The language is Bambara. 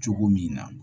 Cogo min na